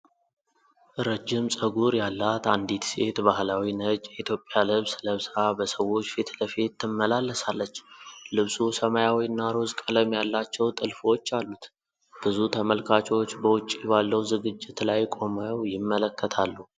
ረጅም ፀጉር ያላት አንዲት ሴት ባህላዊ ነጭ የኢትዮጵያ ልብስ ለብሳ በሰዎች ፊት ለፊት ትመላለሳለች። ልብሱ ሰማያዊ እና ሮዝ ቀለም ያላቸው ጥልፎች አሉት፤ ብዙ ተመልካቾች በውጪ ባለው ዝግጅት ላይ ቆመው ይመለከታሉ።